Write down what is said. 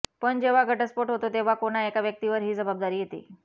पण जेव्हा घटस्फोट होतो तेव्हा कोणा एका व्यक्तीवर ही जबाबदारी येते